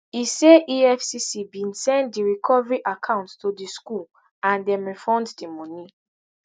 e say efcc bin send di recovery account to di school and dem refund di money